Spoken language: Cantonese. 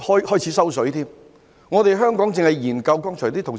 剛才有同事提到，香港一味研究，進度緩慢。